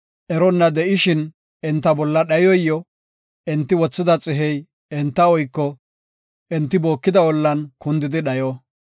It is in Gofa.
Eronna de7ishin enta bolla dhayoy yo; enti wothida xihey enta oyko; enti bookida ollan kundidi dhayo.